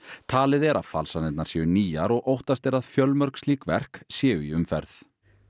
talið er að falsanirnar séu nýjar og óttast er að fjölmörg slík verk séu í umferð